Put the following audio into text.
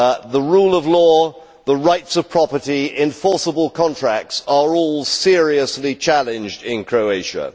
The rule of law, the rights of property and enforceable contracts are all seriously challenged in Croatia.